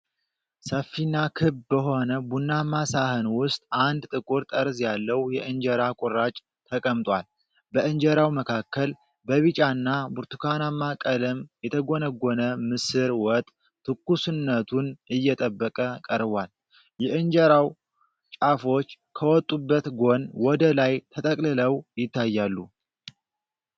ሰፊና ክብ በሆነ ቡናማ ሳህን ውስጥ፣ አንድ ጥቁር ጠርዝ ያለው የእንጀራ ቁራጭ ተቀምጧል። በእንጀራው መካከል በቢጫና ብርቱካናማ ቀለም የተጎነጎነ ምስር ወጥ ትኩስነቱን እየጠበቀ ቀርቧል። የእንጀራው ጫፎች ከወጡበት ጎን ወደ ላይ ተጠቅልለው ይታያሉ።